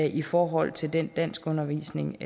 i forhold til den danskundervisning